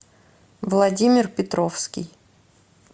владимир петровский